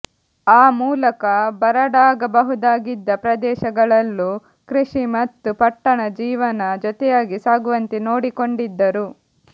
ಆ ಮೂಲಕ ಬರಡಾಗಬಹುದಾಗಿದ್ದ ಪ್ರದೇಶ ಗಳಲ್ಲೂ ಕೃಷಿ ಮತ್ತು ಪಟ್ಟಣ ಜೀವನ ಜೊತೆಯಾಗಿ ಸಾಗುವಂತೆ ನೋಡಿಕೊಂಡಿದ್ದರು